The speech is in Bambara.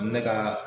Ne ka